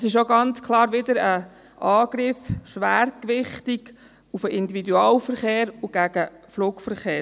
Das ist auch ganz klar wieder ein Angriff, schwergewichtig auf den Individualverkehr und auf den Flugverkehr;